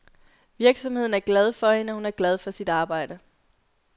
Virksomheden er glad for hende, og hun er glad for sit arbejde.